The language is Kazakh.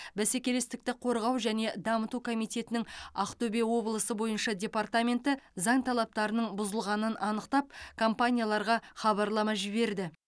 бәсекелестікті қорғау және дамыту комитетінің ақтөбе облысы бойынша департаменті заң талаптарының бұзылғанын анықтап компанияларға хабарлама жіберді